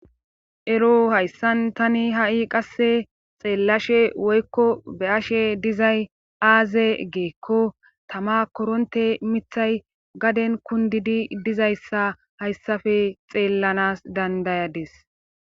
Ero hayssan tani ha'i qasse xeellashe woykko be ashe dizay aaze geekko tama koronte mithay gaden kundidi dizayssa hayssafe xeellanas dandayadis.